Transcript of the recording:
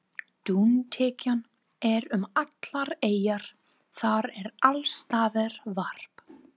Dúntekjan er um allar eyjar, það er alls staðar varp.